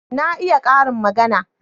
Na iya karin magana.